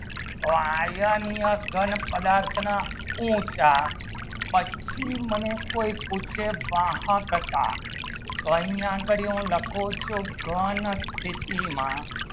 તો iron ની ઘન પદાર્થના ઊંચા પછી મને કોઈ પૂછે વાહ કાકાતો અહીંયા કરી લખો છો ઘણ સ્થિતિ માં